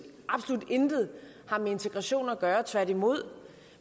absolut intet har med integration at gøre tværtimod